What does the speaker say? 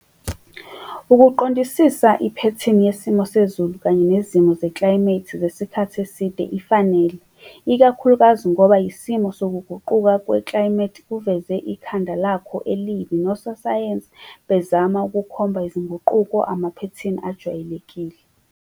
Ukuqondisisa iphethini yesimo sezulu kanye nezimo zeklayimethi zesikhathi eside ifanele ikakhulukazi ngoba yisimo sokuguquka kweklayimethi kuveze ikhanda lakho elibi nososayensi bezama ukukhomba izinguquko amaphethini ajwayelekile.